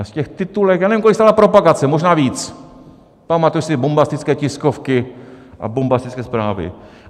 A z těch titulek, já nevím, kolik stála propagace, možná víc, pamatuju si bombastické tiskovky a bombastické zprávy.